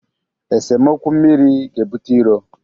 Esemokwu mmiri ga-ebute iro.